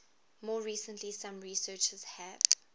more recently some researchers have